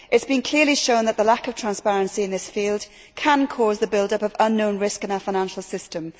It has been clearly shown that the lack of transparency in this field can cause the build up of unknown risk in our financial system.